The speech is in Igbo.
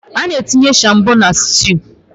Ana-etinye shombọ na styuu.